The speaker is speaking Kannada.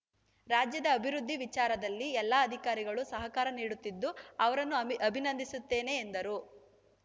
ರಾಜ್ಯದ ಅಭಿವೃದ್ಧಿ ವಿಚಾರದಲ್ಲಿ ಎಲ್ಲ ಅಧಿಕಾರಿಗಳು ಸಹಕಾರ ನೀಡುತ್ತಿದ್ದು ಅವರನ್ನು ಅ ಅಭಿನಂದಿಸುತ್ತೇನೆ ಎಂದರು